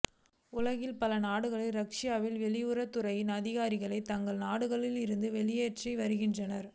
உலகின் பல நாடுகளும் ரஷ்யாவின் வெளியுறவுத் துறை அதிகாரிகளை தங்கள் நாடுகளில் இருந்து வெளியேற்றி வருகின்றன